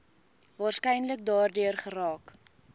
waarskynlik daardeur geraak